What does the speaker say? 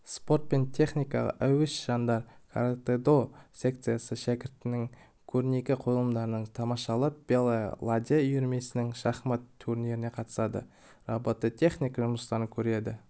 спорт пен техникаға әуес жандар каратэ-до секциясы шәкірттерінің көрнекі қойылымдарын тамашалап белая ладья үйірмесінің шахмат турниріне қатысады робототехника жұмыстарын көреді